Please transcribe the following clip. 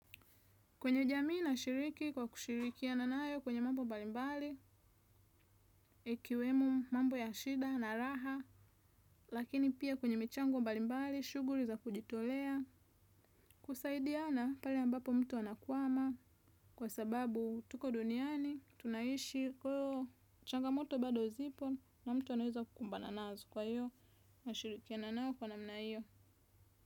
Kwenye jamii nashiriki kwa kushirikiana naye kwenye mambo mbalimbali, ikiwemo mambo ya shida na raha, lakini pia kwenye michango mbalimbali, shuguli za kujitolea, kusaidiana pale ambapo mtu anakwama kwa sababu tuko duniani, tunaishi, changamoto bado zipo na mtu anaeza kukumbana nazo kwa hiyo, nashirikiana nayo kwa namna hiyo.